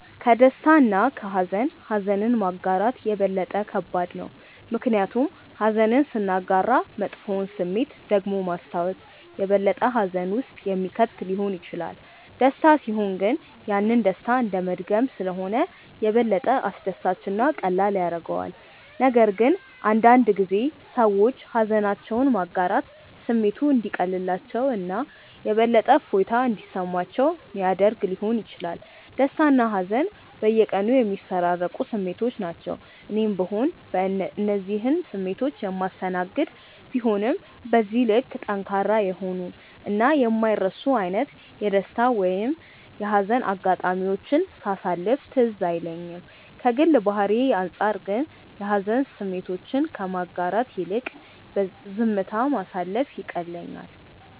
ከደስታ እና ከሃዘን ኀዘንን ማጋራት የበለጠ ከባድ ነው። ምክንያቱም ኀዘንን ስናጋራ መጥፎውን ስሜት ደግሞ ማስታወስ የበለጠ ሀዘን ውስጥ የሚከት ሊሆን ይችላል። ደስታ ሲሆን ግን ያንን ደስታ እንደመድገም ስለሆነ የበለጠ አስደሳች እና ቀላል ያደርገዋል፤ ነገር ግን አንዳንድ ጊዜ ሰዎች ሃዘናቸውን ማጋራት ስሜቱ እንዲቀልላቸው እና የበለጠ እፎይታ እንዲሰማቸው ሚያደረግ ሊሆን ይችላል። ደስታና ሀዘን በየቀኑ የሚፈራረቁ ስሜቶች ናቸው። እኔም ብሆን እነዚህን ስሜቶች የማስተናገድ ቢሆንም በዚህ ልክ ጠንካራ የሆኑ እና የማይረሱ አይነት የደስታ ወይም የሀዘን አጋጣሚዎችን ሳሳለፍ ትዝ አይለኝም። ከግል ባህሪዬ አንጻር ግን የሀዘን ስሜቶችን ከማጋራት ይልቅ ዝምታ ማሳለፍ ይቀለኛል።